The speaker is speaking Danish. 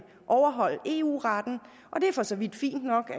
overholde eu retten og det er for så vidt fint nok